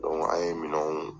an ye minɛnw